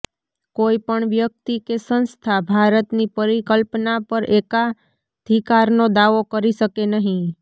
કોઈપણ વ્યક્તિ કે સંસ્થા ભારતની પરિકલ્પના પર એકાધિકારનો દાવો કરી શકે નહીં